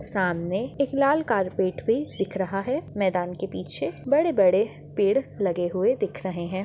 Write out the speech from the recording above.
सामने एक लाल कार्पेट भी दिख रहा है मैदान के पीछे बड़े-बड़े पेड़ लगे हुए दिख रहे हैं।